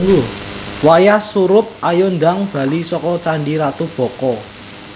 Wayah surup ayo ndang bali soko Candi Ratu Boko